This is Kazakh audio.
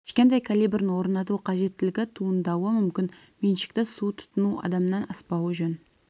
кішкентай калибрін орнату қажеттілігі туындауы мүмкін меншікті су тұтыну адамнан аспауы жөн